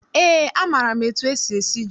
Eé, amaara m etu esi esi ji.